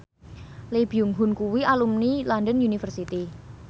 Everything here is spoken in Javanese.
Lee Byung Hun kuwi alumni London University